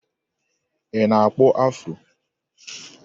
Ị na-akpụ afụro?